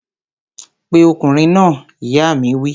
Pe ọkùnrin náà! ìyá mi wí